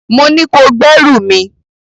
Mo ní kó gbé ẹrù mi!